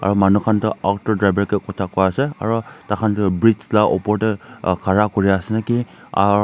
Manu khan do auto driver ka kotha koi asa aro thaikhan do breach laopor tey ah khari kuri asa naki.